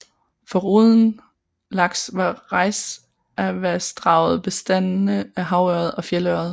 Foruden laks har Reisavassdraget bestande af havørred og fjeldørred